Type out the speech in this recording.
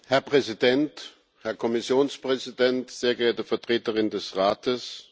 Herr Präsident, Herr Kommissionspräsident, sehr geehrte Vertreterin des Rates!